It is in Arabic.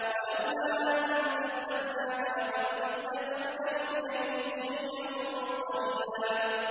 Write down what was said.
وَلَوْلَا أَن ثَبَّتْنَاكَ لَقَدْ كِدتَّ تَرْكَنُ إِلَيْهِمْ شَيْئًا قَلِيلًا